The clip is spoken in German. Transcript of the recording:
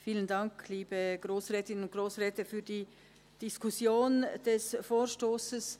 Vielen Dank für die Diskussion des Vorstosses.